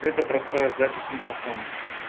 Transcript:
это простая запись микрофона